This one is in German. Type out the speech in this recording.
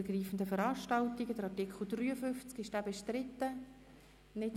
Wer den Antrag Regierungsrat und SiK annimmt, stimmt Ja.